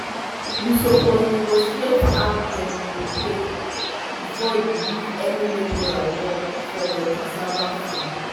you suppose negotiate how dem go pay before you give any labourer work for your cassava farm.